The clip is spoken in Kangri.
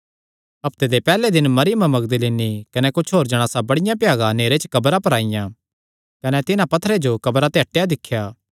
हफ्ते दे पैहल्ले दिन मरियम मगदलीनी कने कुच्छ होर जणासा बड़िया भ्यागा नेहरे च कब्रा पर आईआं कने तिन्हां पत्थरे जो कब्रा ते हटेया दिख्या